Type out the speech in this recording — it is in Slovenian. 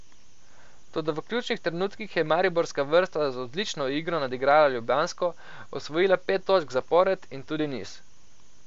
Toda v ključnih trenutkih je mariborska vrsta z odlično igro nadigrala ljubljansko, osvojila pet točk zapored in tudi niz.